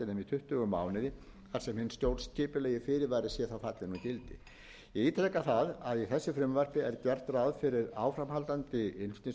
tuttugu mánuði þar sem hinn stjórnskipulegi fyrirvari sé fallinn úr gildi ég ítreka það að í þessu frumvarp er gert ráð fyrir áframhaldandi innflutningsbanni